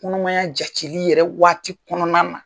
Kɔnɔmaya jateli yɛrɛ waati kɔnɔna na.